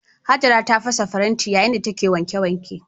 Hajara ta fasa faranti yayin da take wanke wanke.